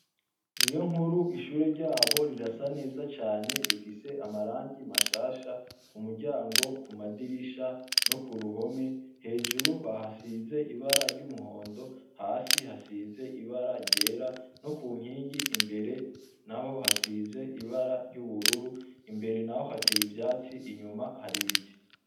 Niyonkuru ishure ryabo rirasa neza cane ,rifise amarangi mashasha umuryango, Kumadirisha no kuruhome hejuru bahasize ibara ry'umuhondo ,hasi hasize ibara ryera no kunkingi imbere naho hasize ibara ryubururu Imbere naho hateye ivyatsi nyuma naho hateye ibiti.